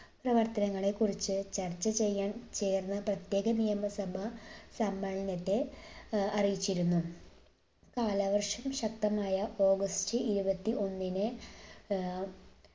പ്രവർത്തനങ്ങളെ കുറിച്ച് ചർച്ച ചെയ്യാൻ ചേർന്ന പ്രത്യേക നിയമസഭാ സമ്മേളനത്തെ ഏർ അറിയിച്ചിരുന്നു. കാലവർഷം ശക്തമായ ഓഗസ്റ്റ് ഇരുപത്തി ഒന്നിന് ഏർ